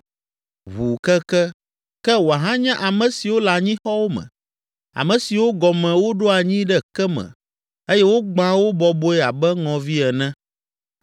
ʋuu keke, ke wòahanye ame siwo le anyixɔwo me, ame siwo gɔme woɖo anyi ɖe ke me eye wogbãa wo bɔbɔe abe ŋɔvi ene!